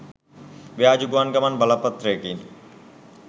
ව්‍යාජ ගුවන් ගමන් බලපත්‍රයකිනි.